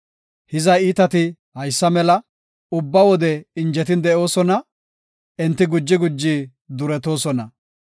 Hiza iitati haysa mela; ubba wode injetin de7oosona; enti guji guji duretoosona.